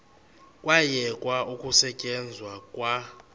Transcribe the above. kwayekwa ukusetyenzwa kwa